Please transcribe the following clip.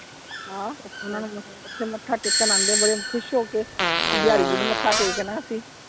ਹਾਂ ਓਹਨਾ ਨੂੰ ਓਥੇ ਮੱਥਾ ਟੇਕਣ ਆਉਂਦੇ ਆ ਬੜੇ ਖੁਸ਼ ਹੋ ਕੇ, ਬਿਆਰੀ ਜੀ ਨੂੰ ਮੱਥਾ ਟੇਕਣਾ ਹੈ ਅਸੀਂ।